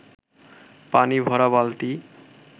পানি ভরা বালতি